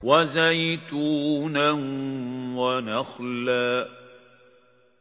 وَزَيْتُونًا وَنَخْلًا